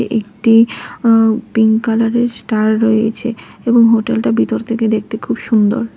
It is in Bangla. একটি পিঙ্ক কালারের স্টার রয়েছে এবং হোটেলটা ভিতর থেকে দেখতে খুব সুন্দর।